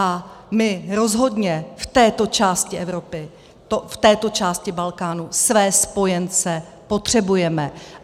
A my rozhodně v této části Evropy, v této části Balkánu své spojence potřebujeme.